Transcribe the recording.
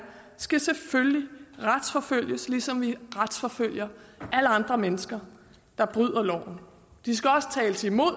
skal selvfølgelig retsforfølges ligesom vi retsforfølger alle andre mennesker der bryder loven de skal også tales imod